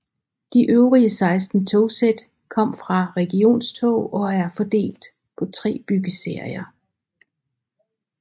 De øvrige 16 togsæt kom fra Regionstog og er fordelt på tre byggeserier